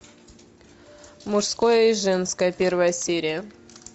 мужское и женское первая серия